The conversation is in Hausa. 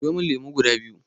Siyo min lemo guda biyu.